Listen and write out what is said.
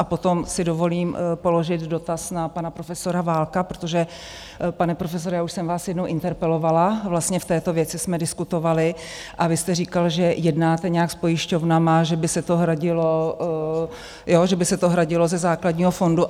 A potom si dovolím položit dotaz na pana profesora Válka, protože pane profesore, já už jsem vás jednou interpelovala, vlastně v této věci jsme diskutovali a vy jste říkal, že jednáte nějak s pojišťovnami, že by se to hradilo ze základního fondu.